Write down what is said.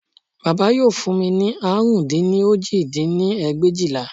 Bàbá yóò fún mi ní àrún dín ní òjì dín ní ẹgbẹ̀éjìlá